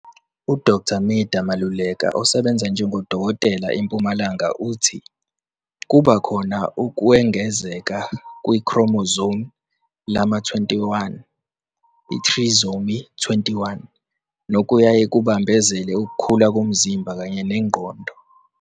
UDkt Midah Maluleka osebenza njengodokotela eMpumalanga uthi, "kuba khona ukwengezeka kwi-chromosome lama-21, iTrisomy 21, nokuyaye kubambezele ukukhula komzimba kanye nengqondo.